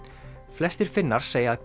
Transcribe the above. flestir Finnar segja að